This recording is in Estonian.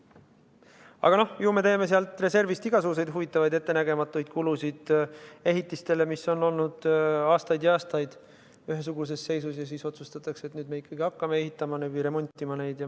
Aga me teeme sealt reservist igasuguseid huvitavaid ettenägematuid kulutusi, näiteks ehitistele, mis on olnud aastaid ja aastaid ühesuguses seisus ja siis otsustatakse, et nüüd me ikkagi hakkame neid ehitama või remontima.